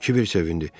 Kibər sevindi.